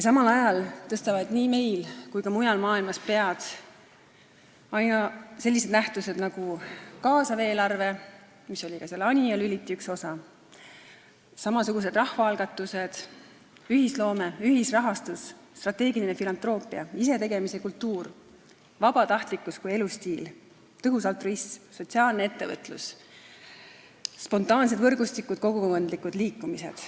Samal ajal tõstavad nii meil kui ka mujal maailmas pead sellised nähtused nagu kaasav eelarve, mis oli ka Anija Lüliti üks osi, samasugused rahvaalgatused, ühisloome, ühisrahastus, strateegiline filantroopia, isetegemise kultuur, vabatahtlikkus kui elustiil, tõhus altruism, sotsiaalne ettevõtlus, spontaansed võrgustikud ja kogukondlikud liikumised.